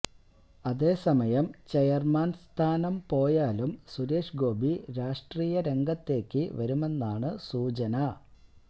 അതേസമയം ചെയർമാൻ സ്ഥാനം പോയാലും സുരേഷ് ഗോപി രാഷ്ര്ടീയ രംഗത്തേക്ക് വരുമെന്നാണു സൂചന